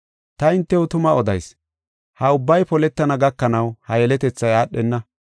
“Ta hintew tuma odayis; ha ubbay poletana gakanaw ha yeletethay aadhenna.